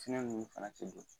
Tiɲɛ ninnu fana tɛ don.